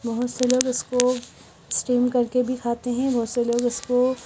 बहोत से लोग इसको स्टीम करके भी खाते हैं। बहोत से लोग इसको--